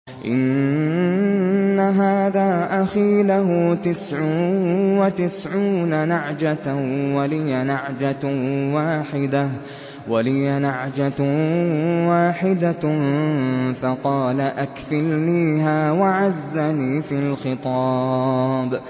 إِنَّ هَٰذَا أَخِي لَهُ تِسْعٌ وَتِسْعُونَ نَعْجَةً وَلِيَ نَعْجَةٌ وَاحِدَةٌ فَقَالَ أَكْفِلْنِيهَا وَعَزَّنِي فِي الْخِطَابِ